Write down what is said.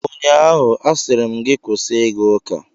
Ụnyaahụ, a sịrị m gị kwụsị ịga ụka!